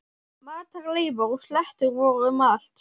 Matarleifar og slettur voru um allt.